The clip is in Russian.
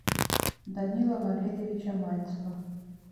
данила валерьевича мальцева